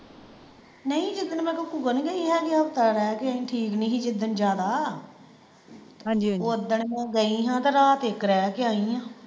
ਗਈ ਹੈਗੀ ਹਫਤਾ ਰਹਿ ਕ ਆਈ ਠੀਕ ਨਹੀਂ ਸੀ ਜਿਦਣ ਜਿਆਦਾ ਹਾਂਜੀ ਹਾਂਜੀ, ਓਦਣ ਮੈਂ ਗਈ ਹਾਂ ਤੇ ਰਾਤ ਇੱਕ ਰਹਿ ਕ ਆਈ ਆ।